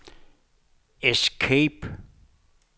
escape